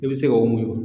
I bɛ se k'o muɲu